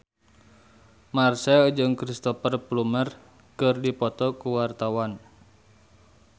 Marchell jeung Cristhoper Plumer keur dipoto ku wartawan